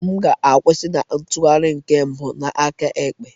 M ga-akwusi na ntụgharị nke mbụ n'aka ekpe.